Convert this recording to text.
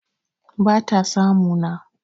bata samu na